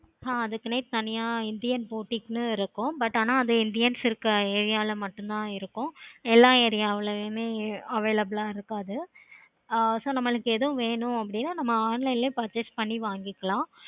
ஆஹ் அதுக்குனே தனியா indian portugue இருக்கும். but ஆனா அது indians இருக்க area ல மட்டும் தன இருக்கும். எல்லா area ளையும் available ஆஹ் இருக்காது. ஆஹ் so நம்மளுக்கு எது வேணுனா அத நம்ம online லையே purchase பண்ணிக்கலாம்.